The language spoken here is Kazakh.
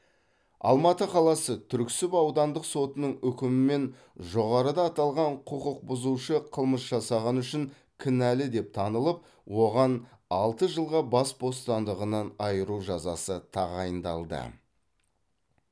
алматы қаласы түрксіб аудандық сотының үкімімен жоғарыда аталған құқықбұзушы қылмыс жасағаны үшін кінәлі деп танылып оған алты жылға бас бостандығынан айыру жазасы тағайындалды